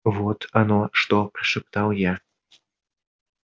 вот оно что прошептал я